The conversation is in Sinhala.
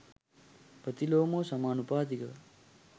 ප්‍රතිලෝමව සමානුපාතිකව